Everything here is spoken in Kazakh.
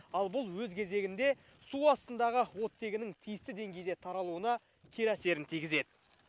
ал бұл өз кезегінде су астындағы оттегінің тиісті деңгейде таралуына кері әсерін тигізеді